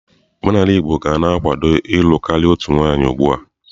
Omenala Igbo ka na-akwado ịlụ karịa otu nwaanyị ugbu a.